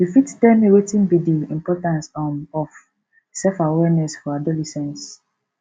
you fit tell me wetin be be di importance um of self awareness for adolescents